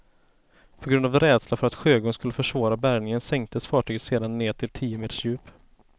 På grund av rädsla för att sjögång skulle försvåra bärgningen sänktes fartyget sedan ned till tio meters djup.